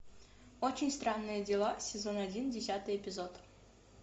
очень странные дела сезон один десятый эпизод